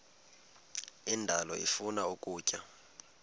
indalo ifuna ukutya